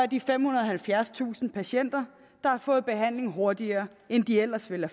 de femhundrede og halvfjerdstusind patienter der har fået behandling hurtigere end de ellers ville